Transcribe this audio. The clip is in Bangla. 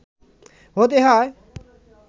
হতে হয়